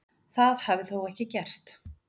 Það hafi þó ekkert gerst.